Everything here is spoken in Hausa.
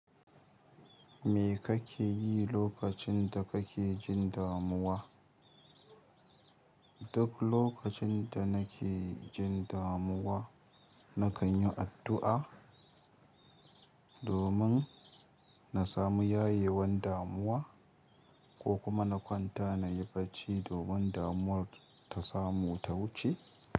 Me kake yi lokacin da kake jin damuwa? Duk lokacin da nake jin damuwa nakan yi addu'a domin na samu yayewan damuwa ko kuma na kwanta nayi bacci domin damuwan ta samu ta wuce.